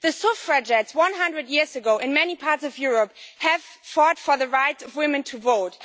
The suffragettes, 100 years ago, in many parts of Europe fought for the right of women to vote.